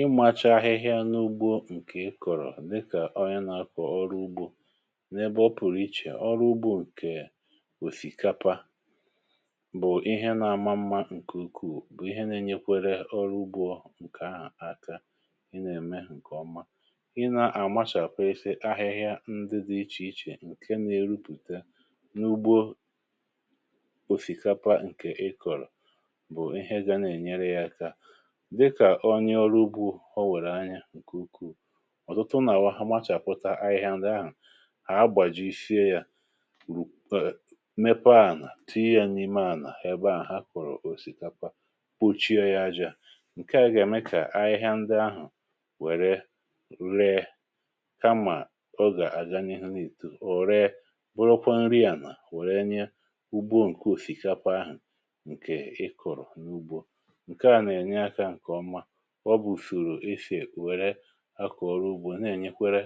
Ìmàchà ahịhịa n’ugbȯ nke ị kọ̀rọ̀, dịkà ọrịa n’akọ̀ ọrụ ugbȯ, n’ebe ọ pụ̀rụ̀ iche. Ọrụ ugbȯ nke òsìkàpà bụ̀ ihe nà-àmà mmȧ nke ukwuù, bụ̀ ihe nà-ènyekwere ọrụ ugbȯ nke ahụ̀ aka. um Ị nà-ème nke ọma, ị nà-àmachàpụ̀ ise ahịhịa ndị dị iche iche nke nà-erupùte n’ugbȯ òsìkàpà nke ị kọ̀rọ̀.Onye ọrụ ugbȯ, ọ wèrè anya nke ukwuù, ọ̀tụtụ nà-àwà, ha machàpụta ahịhịa ndị ahụ̀ um a gbàjìfie yȧ, mepee ànà, tìì yȧ n’ime ànà ebe ahụ̀ ha kọ̀rọ̀ òsìkàpà, kpochie yȧ ajȧ... Nke à gà-ème kà ahịhịa ndị ahụ̀ wèrè ree, kamà ọ gà-aga n’ihu n’ìtù ọ̀, ree bụrụkwa nri ànà wèrè na-azụ ugbȯ. Nke òsìkàpà ahụ̀ nke ị kọ̀rọ̀ n’ugbȯ, ọ bụ̀ ùsùrù ifè wèrè akọ̀rọ̀ ugbȯ um na-ènyekwere